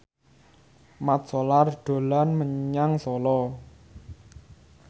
Mat Solar dolan menyang Solo